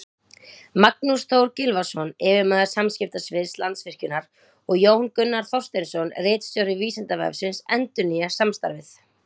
Magnús Þór Gylfason, yfirmaður samskiptasviðs Landsvirkjunar, og Jón Gunnar Þorsteinsson, ritstjóri Vísindavefsins, endurnýja samstarfið.